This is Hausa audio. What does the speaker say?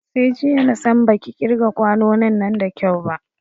Sai jiya na san baki ƙirga kwanonin nan da kyau ba